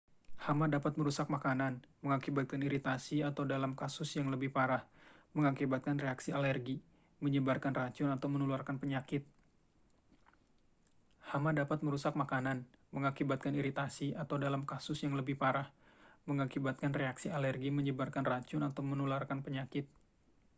hama dapat merusak makanan mengakibatkan iritasi atau dalam kasus yang lebih parah mengakibatkan reaksi alergi menyebarkan racun atau menularkan penyakit